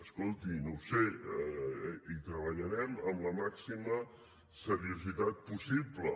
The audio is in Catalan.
escolti no ho sé hi treballarem amb la màxima seriositat possible